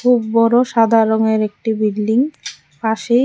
খুব বড়ো সাদা রঙের একটি বিল্ডিং পাশেই--